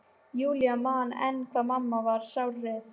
Júlía man enn hvað mamma varð sárreið.